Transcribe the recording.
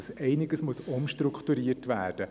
Es muss einiges umstrukturiert werden.